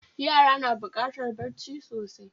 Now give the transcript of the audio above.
Yara na bukatar bacci sosai